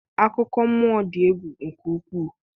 akụkọ mmụọ dị egwu nke ukwuu